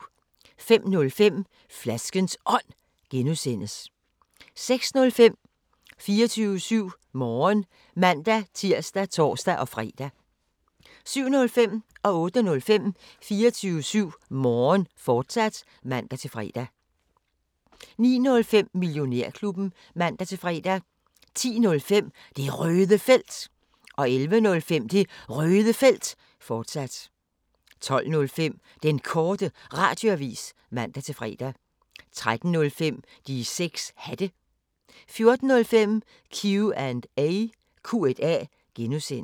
05:05: Flaskens Ånd (G) 06:05: 24syv Morgen (man-tir og tor-fre) 07:05: 24syv Morgen, fortsat (man-fre) 08:05: 24syv Morgen, fortsat (man-fre) 09:05: Millionærklubben (man-fre) 10:05: Det Røde Felt 11:05: Det Røde Felt, fortsat 12:05: Den Korte Radioavis (man-fre) 13:05: De 6 Hatte 14:05: Q&A (G)